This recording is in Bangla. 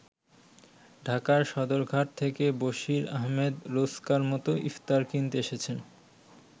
ঢাকার সদরঘাট থেকে বসির আহমেদ রোজকার-মত ইফতার কিনতে এসেছেন।